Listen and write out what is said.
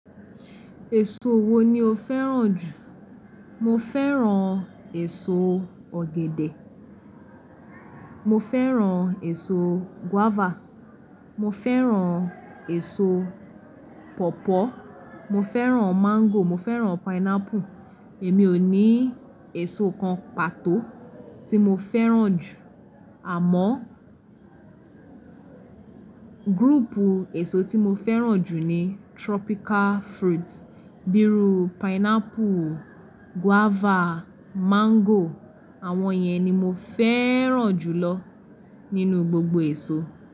Èso wo ni o fẹ́ràn jù? Mo fẹ́ràn èso ọ̀gẹ̀dẹ̀, mo fẹ́ràn èso guava, mo fẹ́ràn èso pọ̀pọ́, mo fẹ́ràn mango, mo fẹ́ràn pineapple. Èmi ò ní èso kan pàtó tí mo fẹ́ràn jù àmọ́, group èso tí mo fẹ́ràn jù ni tropical fruits bí irú pineapple, guava, mango àwọn yẹn ni mo fẹ́ràn jù lọ nínú gbogbo èso.